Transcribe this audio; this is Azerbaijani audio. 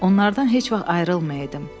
Onlardan heç vaxt ayrılmayaydım.